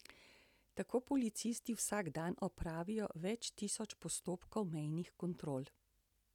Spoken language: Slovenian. Tako policisti vsak dan opravijo več tisoč postopkov mejnih kontrol.